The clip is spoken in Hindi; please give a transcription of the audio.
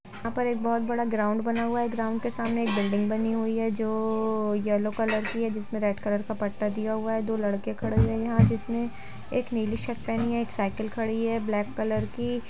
यहाँ पर एक बोहोत बड़ा ग्राउंड बना हुअ है ग्राउंड के सामने एक बिल्डिंग बनी हुई है जो येलो कलर की हैजिसमें रेड कलर क पत्ता दिया हुअ है दो लड़के खड़े हुए है यहाँ जिसमें और एक नीली शर्ट पहनी है और एक साइकिल खड़ी है ब्लैक कलर की ।